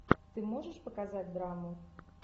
ты можешь показать драму